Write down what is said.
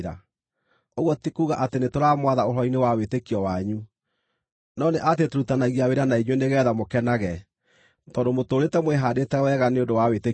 Ũguo ti kuuga atĩ nĩtũramwatha ũhoro-inĩ wa wĩtĩkio wanyu, no nĩ atĩ tũrutithanagia wĩra na inyuĩ nĩgeetha mũkenage, tondũ mũtũũrĩte mwĩhaandĩte wega nĩ ũndũ wa wĩtĩkio wanyu.